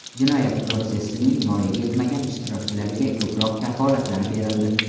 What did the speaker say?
Jinoyat protsessining voyaga yetmagan ishtirokchilariga ko‘proq kafolatlar berildi.